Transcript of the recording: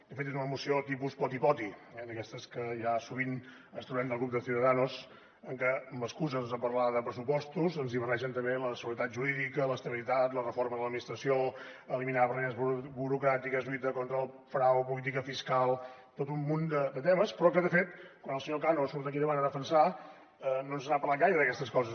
de fet és una moció tipus poti poti eh d’aquestes que ja sovint ens trobem del grup de ciudadanos en què amb l’excusa doncs de parlar de pressupostos ens hi barregen també la seguretat jurídica l’estabilitat la reforma de l’administració eliminar barreres burocràtiques lluita contra el frau política fiscal tot un munt de temes però que de fet quan el senyor cano surt aquí davant a defensar la no ens n’ha parlat gaire d’aquestes coses